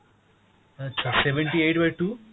আচ্ছা, seventy eight by two,